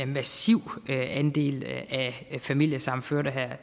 massiv andel familiesammenførte her